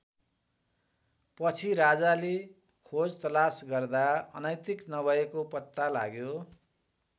पछि राजाले खोजतलास गर्दा अनैतिक नभएको पत्ता लाग्यो।